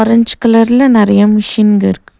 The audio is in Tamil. ஆரஞ்ச் கலர்ல நறையா மிஷின்க இருக்கு.